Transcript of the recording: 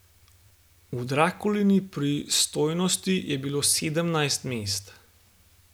V Drakulini pristojnosti je bilo sedemnajst mest.